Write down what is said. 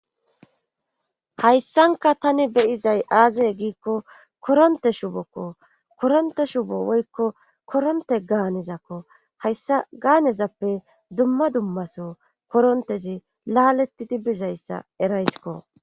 hayssanka tani be7izay aaze giikko koronte shubokko koronte shubo woykko koronte gaanezakko hayssa gaanezappe dumma dummaso korontezi laalettidi bizayssa erayskko.